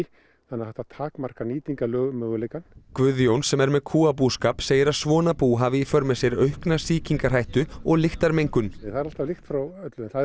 þannig að þetta takmarkar nýtingarmöguleika Guðjón sem er með kúabúskap segir að svona bú hafi í för með sér aukna sýkingarhættu og lyktarmengun það er alltaf lykt frá öllu en